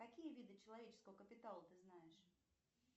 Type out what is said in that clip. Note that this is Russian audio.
какие виды человеческого капитала ты знаешь